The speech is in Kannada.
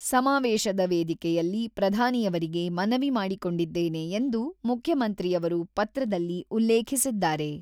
ಸಮಾವೇಶದ ವೇದಿಕೆಯಲ್ಲಿ ಪ್ರಧಾನಿಯವರಿಗೆ ಮನವಿ ಮಾಡಿಕೊಂಡಿದ್ದೇನೆ ಎಂದು ಮುಖ್ಯಮಂತ್ರಿಯವರು ಪತ್ರದಲ್ಲಿ ಉಲ್ಲೇಖಿಸಿದ್ದಾರೆ.